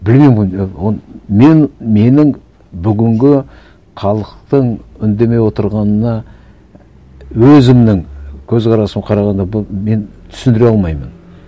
мен менің бүгінгі халықтың үндемей отырғанына өзімнің көзқарасым қарағанда бұл мен түсіндіре алмаймын